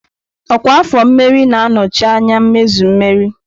Ọkwa afọ mmerị na-anọchi anya mmezu mmeri.